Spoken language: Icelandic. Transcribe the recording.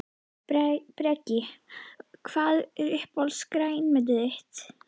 Breki: Hvað er uppáhalds grænmetið þitt?